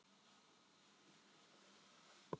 Sem dönsuðu af krafti- af ótrúlegri færni